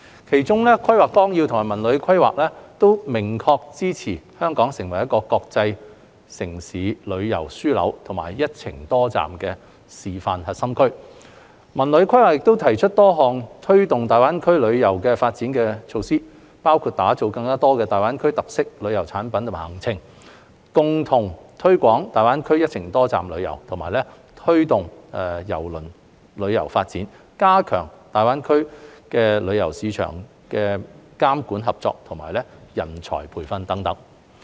其中，《規劃綱要》及《文旅規劃》均明確支持香港成為國際城市旅遊樞紐及"一程多站"示範核心區，《文旅規劃》亦提出多項推動大灣區旅遊發展的措施，包括打造更多大灣區特色旅遊產品及行程、共同推廣大灣區"一程多站"旅遊、推動郵輪旅遊發展、加強大灣區旅遊市場監管合作及人才培訓等。